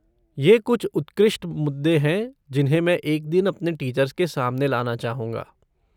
ये कुछ उत्कृष्ट मुद्दे हैं जिन्हें मैं एक दिन अपने टीचर्स के सामने लाना चाहूँगा।